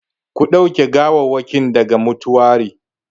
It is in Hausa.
Ku ɗauke gawawwakin daga mutuwari!